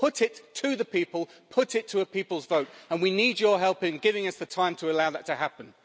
Put it to the people, put it to a people's vote, and we need your help in giving us the time to allow that to happen.